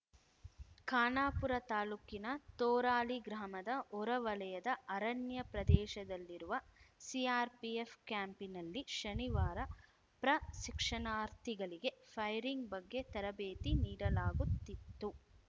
ಖಾನಾಪುರ ತಾಲೂಕಿನ ತೋರಾಳಿ ಗ್ರಾಮದ ಹೊರವಲಯದ ಅರಣ್ಯ ಪ್ರದೇಶದಲ್ಲಿರುವ ಸಿಆರ್‌ಪಿಎಫ್‌ ಕ್ಯಾಂಪಿನಲ್ಲಿ ಶನಿವಾರ ಪ್ರಶಿಕ್ಷಣಾರ್ಥಿಗಳಿಗೆ ಫೈರಿಂಗ್‌ ಬಗ್ಗೆ ತರಬೇತಿ ನೀಡಲಾಗುತ್ತಿತ್ತು